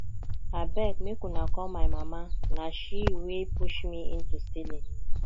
abeg make una call my mama na she wey push me into stealing